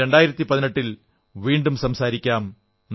ഇനി 2018 ൽ വീണ്ടും സംസാരിക്കാം